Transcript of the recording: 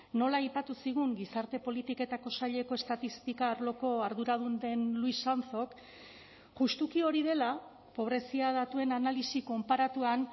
nola aipatu zigun gizarte politiketako saileko estatistika arloko arduradun den luis sanzok justuki hori dela pobrezia datuen analisi konparatuan